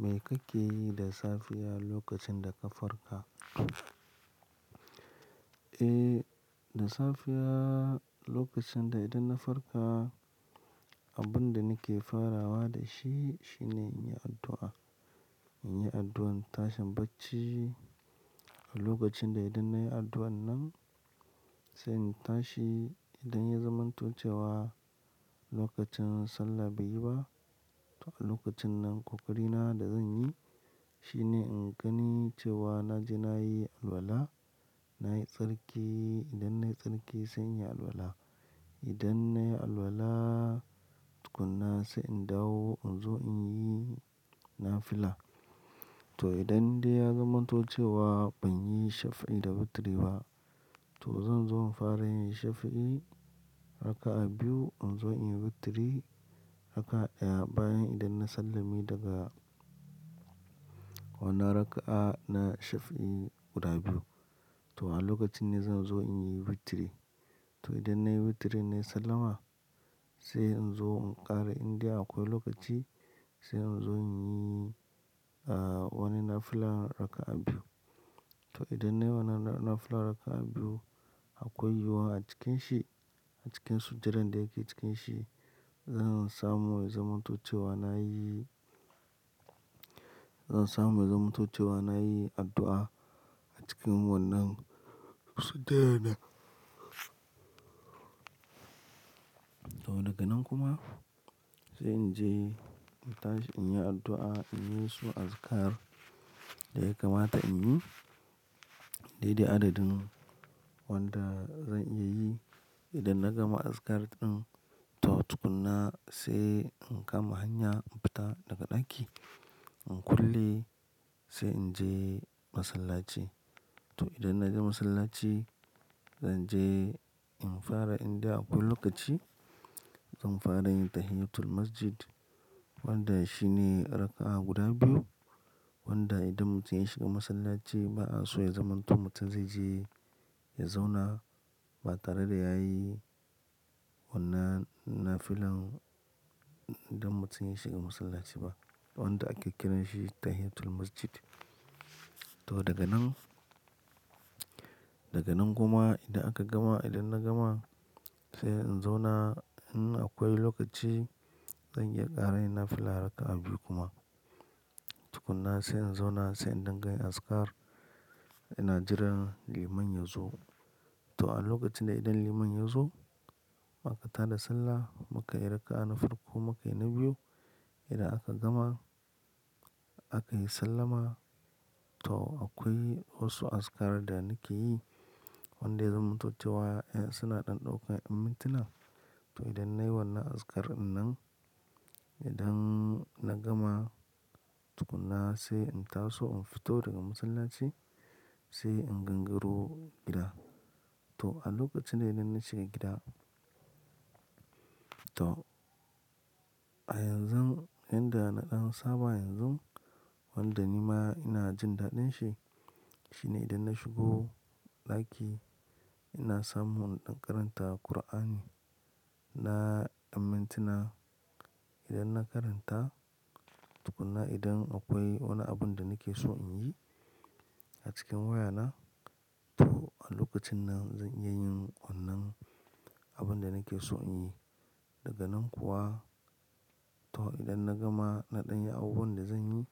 Me kake yi da safiya lokacin da ka farka? Eh, da safiya lokacin da idan na farka, abin da nake farawa da shi, shine in yi addu'a. In yi addu'an tashin bacci. A lokacin da idan nayi addu'an nan, sai in tashi. Idan ya zamanto cewa lokacin sallah bai yi ba, to a lokacin nan kokari na da zan yi shine in gani cewa na je na yi alwala, na yi tsarki. Idan nayi tsarki sai in yi alwala. Idan nayi alwala tukuna, sai in dawo in zo in yi nafila. To idan dai ya zamanto cewa ban yi shaf'i da witri ba, to zan zo in fara in yi shaf'i raka'a biyu in zo in yi witri raka'a daya bayan idan na sallame daga wannan raka'a na shaf'i guda biyu. To a lokacin ne zan zo in yi witri. To idan nayi witri nayi sallama, sai in zo in ƙara indai akwai lokaci sai in zo in yi, ah, wanni nafila raka'a biyu. To idan nayi wannan nafila raka'a biyu, akwai yiwuwa a cikin shi, a cikin sujadan da yake cikin shi, zan samu ya zamanto cewa na yi, zan samu ya zamanto cewa na yi addu'a a cikin wannan sujadan nan. To daga nan kuma sai in je in tashi in yi addu'a, in yi su azikar da yaka mata in yi. Dai dai adadin wanda zan iya yi. Idan na gama azikar ɗin to tukuna sai in kama hanya in fita daga ɗaki, in kulle sai in je masallaci. To idan na je masallaci, zan je in fara inda akwai lokaci, zan fara yin tahiyyatul masjid wanda shi ne raka'a guda biyu wanda idan mutum ya shiga masallaci ba a so ya zamanto mutum zai je ya zauna ba tare da ya yi wannan nafilan idan mutum ya shiga masallaci ba wanda ake kiran shi tahiyyatul masjid. To daga nan, daga nan kuma idan aka gama, idan na gama sai in zauna in akwai lokaci zan iya ƙara yi nafila raka'a biyu kuma. Tukuna sai in zauna sai in dingayin azikar ina jiran liman ya zo. To a lokacin da idan liman ya zo aka tada sallah muka yi raka'a na farko muka yi na biyu. Idan aka gama aka yi sallama to akwai wasu azikar da nake yi wanda ya zamanto cewa eh suna ɗan ɗaukan ƴan minti na. To idan nayi wannan azikar ɗinnan, idan na gama tukuna sai in taso in fito daga masallaci sai in gangaro gida. To a lokacin da idan na shiga gida, to a yanzu, yanda na ɗan saba yanzu wanda ni ma ina jin daɗin shi, shine idan na shigo ɗaki ina samun inɗan karanta Kur'ani na ƴan mintu na. Idan na karanta tukuna idan akwai wani abin da nake so in yi a cikin wayana to a lokacin nan zan iya yin wannan abin da nake so in yi. Daga nan kuwa to idan na gama na ɗan yi abubuwan da zan yi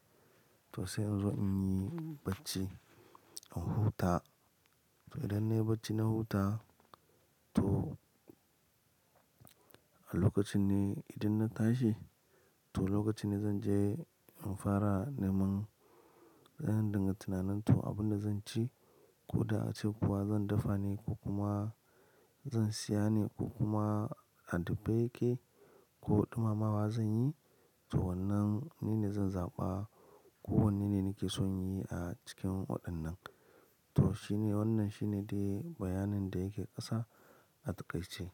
to sai in zo in yi bacci, in huta. To idan nayi bacci na huta to a lokacin ne idan na tashi to lokacin ne zan je in fara neman, zan dinga tunanin to abin da zan ci ko da a ce kuwa zan dafa ne ko kuma zan siya ne ko kuma a dafe yake ko ɗumamawa zan yi to wannan ne na zan zaɓa ko wannan ne nake son yi a cikin waɗannan. To shi ne wannan shine dai bayanin da yake ƙasa a ta ƙaice.